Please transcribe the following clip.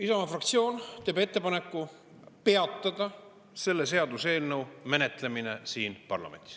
Isamaa fraktsioon teeb ettepaneku peatada selle seaduseelnõu menetlemine siin parlamendis.